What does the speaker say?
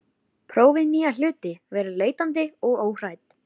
Prófið nýja hluti, verið leitandi og óhrædd.